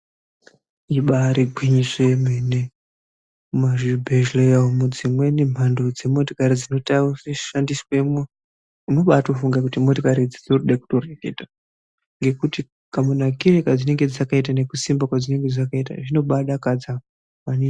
Ibari gwinyiso yemene muzvibhedhleyaumu, dzimweni mhando dzemotokari dzinoshandiswemwo unoba watofunga kuti motokariidzi dzinoda kutoreketa ngekuti kamunakire kadzinenge dzakaita nekusimba kwadzinenge dzakaita zvinomba dakadza maningi.